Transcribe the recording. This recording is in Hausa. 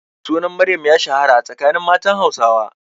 Sunan Maryam ya shahara a tsakanin matan Hausawa.